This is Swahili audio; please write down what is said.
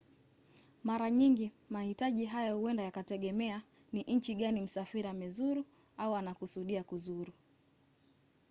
mara nyingi mahitaji haya huenda yakategemea ni nchi gani msafiri amezuru au anakusudia kuzuru